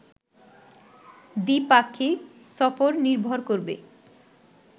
দ্বি-পাক্ষিক সফর নির্ভর করবে